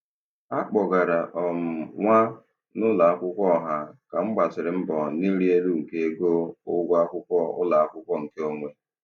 A kpọgara um m nwa n'ụlọakwụkwọ ọha ka m gbasịrị mbọ n'ịrị elu nke ego ụgwọ akwụkwọ ụlọakwụkwọ nke onwe.